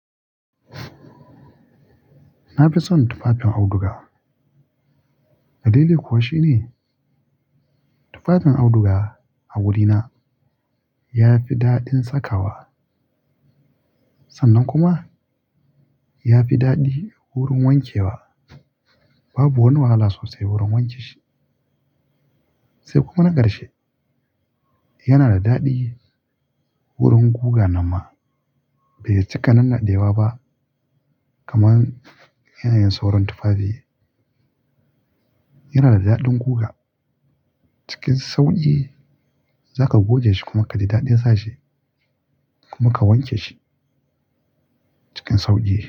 Na fi son tufafin auduga. Dalili kuwa shine tufafin auduga a wurina ya fi daɗin sakawa sannan kuma ya fi daɗi wurin wankewa. Babu wani wahala sosai wurin wanke shi. Sai kuma na karshe yana da daɗi wurin guga nan ma. Bai cika nan naɗewa ba kaman yanayin sauran tufafi. Yana da daɗin guga. Cikin sauƙi za ka goge shi kuma ka ji daɗin sashi kuma ka wanke shi cikin sauƙi.